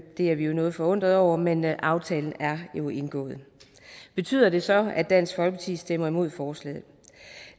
er vi jo noget forundret over men aftalen er jo indgået betyder det så at dansk folkeparti stemmer imod forslaget